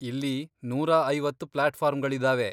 ಇಲ್ಲಿ ನೂರಾ ಐವತ್ತ್ ಪ್ಲಾಟ್ಫಾರಂಗಳಿದಾವೆ.